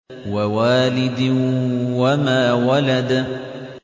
وَوَالِدٍ وَمَا وَلَدَ